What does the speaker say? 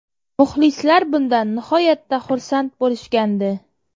Muxlislar bundan nihoyatda xursand bo‘lishgandi.